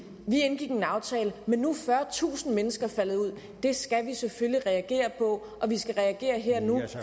vi indgik en aftale men nu er fyrretusind mennesker faldet ud det skal vi selvfølgelig reagere på og vi skal reagere her og nu